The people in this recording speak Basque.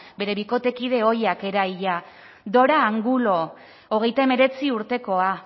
bere bikotekide ohiak eraila dora angulo hogeita hemeretzi urtekoa